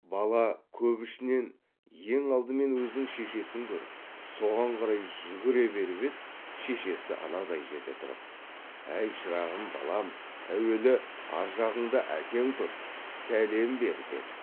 бала көп ішінен ең алдымен өзінің шешесін көріп соған қарай жүре беріп еді шешесі анадай жерде тұрып әй шырағым балам әуелі аржағыңда әкең тұр сәлем бер деді